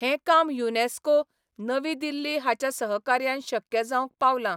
हें काम युनेस्को, नवीदिल्ली हांच्या सहकार्यान शक्य जावंक पावलां.